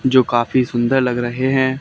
जो काफी सुंदर लग रहे हैं।